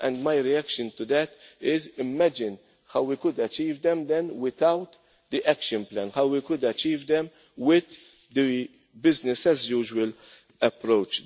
plan. My reaction to that is imagine how we could achieve them then without the action plan, how we could achieve them with the business as usual' approach.